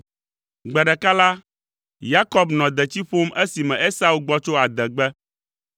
Gbe ɖeka la, Yakob nɔ detsi ƒom esime Esau gbɔ tso adegbe.